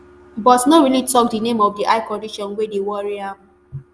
but no really tok di name of di eye condition wey dey worry am